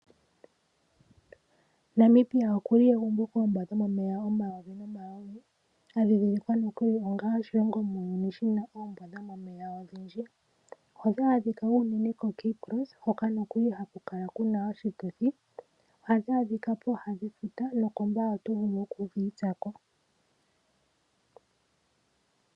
Namibia oku li egumbo koombwa dhomomeya omayovi nomayovi, sha dhindhilikwa nokuli onga oshilongo muuyuni shi na oombwa dhomomeya odhindji. Ohadhi adhika unene koCape cross hoka haku kala ku na oshituthi. Ohadhi adhika pooha dhefuta nokOmbaye oto vulu oku dhi itsa ko.